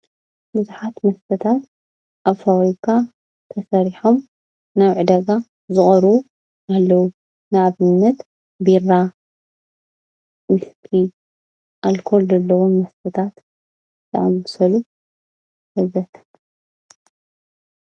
ብዙሓት መስተታት ኣብ ፋብሪካ ተሰሪሖም ናብ ዕዳጋ ዝቐርቡ ኣለው። ንኣብነት ቢራ፣ ዊስ፣ ኣልኮል ዘለዎም መስተታት ዘአመሰሉን ወዘተ...